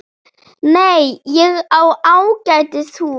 Nei, ég á ágætis hús.